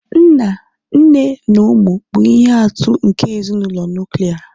nna, nne na ụmụ bụ ihe atụ nke ezinụlọ nuklia